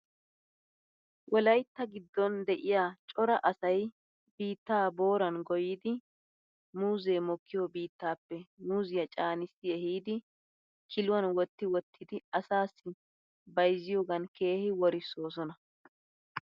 Wolaytta giddon de'iyaa cora asay biittaa booran goyidid muuzee mokkiyo biittappe muuziyaa caanissi ehidi kiluwan wotti wottidi asaasi bayzziyoogan keehi worissosona.